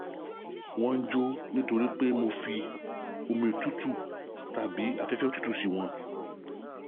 wọ́n ń jó nítorí pé mo fi omi òtútù tàbí afẹ́fẹ́ òtútù sí wọn